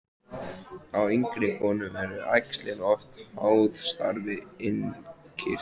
Hjá yngri konum eru æxlin oft háð starfi innkirtla.